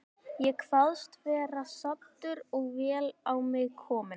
Ég kvaðst vera saddur og vel á mig kominn.